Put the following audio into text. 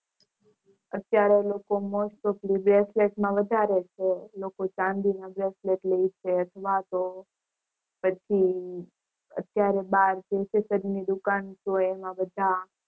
અત્યારે most of lee વધારે છે લોકો ચાંદી નું bracelet લેય છે પછી અત્યારે બાર દુકાન હોય એમાં બધા